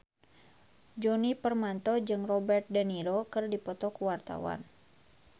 Djoni Permato jeung Robert de Niro keur dipoto ku wartawan